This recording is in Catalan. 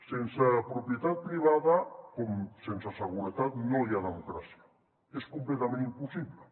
sense propietat privada com sense seguretat no hi ha democràcia és completament impossible